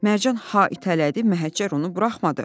Mərcan ha itələdi, Məhəccər onu buraxmadı.